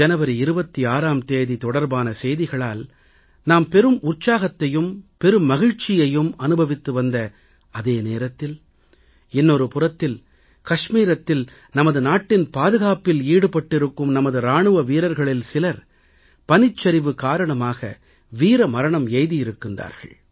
ஜனவரி 26ஆம் தேதி தொடர்பான செய்திகளால் நாம் பெரும் உற்சாகத்தைம் பெருமகிழ்ச்சியையும் அனுபவித்து வந்த அதே நேரத்தில் இன்னொரு புறத்தில் கச்மீரத்தில் நமது நாட்டின் பாதுகாப்பில் ஈடுபட்டிருக்கும் நமது இராணுவ வீரர்களில் சிலர் பனிச்சரிவு காரணமாக வீர மரணம் அடைந்திருக்கின்றார்கள்